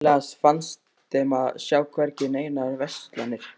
Sérkennilegast fannst þeim að sjá hvergi neinar verslanir.